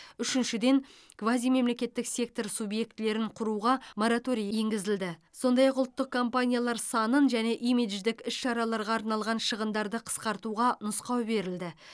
үшіншіден квазимемлекеттік сектор субьектілерін құруға мораторий енгізілді сондай ақ ұлттық компаниялар санын және имидждік іс шараларға арналған шығындарды қысқартуға нұсқау берілді